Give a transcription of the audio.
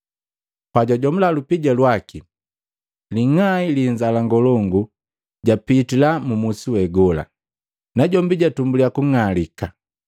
Pajwajomula lupija lwaki, ling'ai li inzala ngolongu japitila mu musi we gola, najombi jatumbuliya kung'alika.